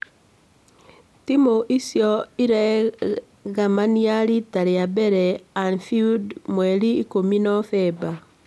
Timũ icio igĩremania rita rĩa mbere Anfield mweri ikũmi novemba